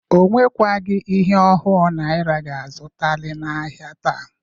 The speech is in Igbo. O nwekwagị ihe ohu naịra ga-azụtalị n'ahịa taa.